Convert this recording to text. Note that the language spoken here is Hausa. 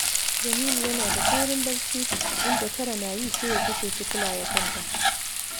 Jamilu yana da saurin barci, inda tara na yi sai ya kashe fitila ya kwanta